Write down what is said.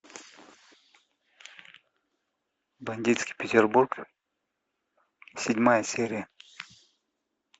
бандитский петербург седьмая серия